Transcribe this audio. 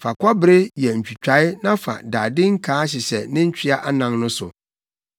Fa kɔbere yɛ ntwitae na fa dade nkaa hyehyɛ ne ntwea anan no so.